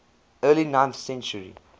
early ninth century